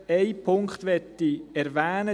Einen Punkt möchte ich erwähnen: